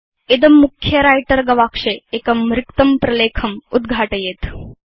इदं मुख्ये व्रिटर गवाक्षे एकं रिक्तं प्रलेखम् उद्घाटयेत्